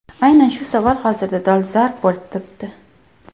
Aynan shu savol hozirda dolzarb bo‘lib turibdi.